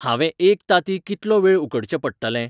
हांंवें एक तांतीं कितलो वेळ उकडचें पडटलें?